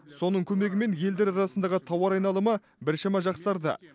соның көмегімен елдер арасындағы тауар айналымы біршама жақсарды